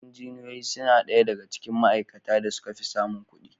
Injiniyoyi suna ɗaya daga cikin ma'aikatan da suka fi samun kuɗi.